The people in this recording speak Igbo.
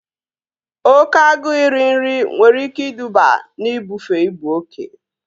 Oké agụụ iri nri nwere ike iduba na ibufe ibu oke